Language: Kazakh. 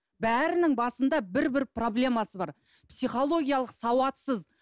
бәрінің басында бір бір проблемасы бар психологиялық сауатсыз